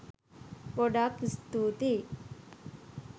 ගොඩාක් ස්තුතියි